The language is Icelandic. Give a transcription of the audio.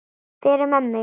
Fyrir mömmu.